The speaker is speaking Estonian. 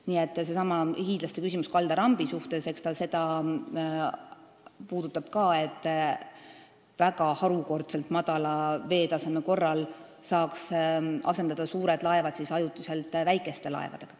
Nii et seesama hiidlaste küsimus kaldarambi kohta, eks ta seda puudutab ka, et harukordselt madala veetaseme korral saaks asendada suured laevad ajutiselt väikeste laevadega.